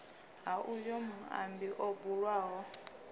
ha uyo muambi o bulwaho